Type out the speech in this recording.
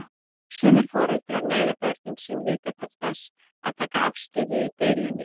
Sumir foreldrar neyða börnin sín líka til þess að taka afstöðu í deilunni.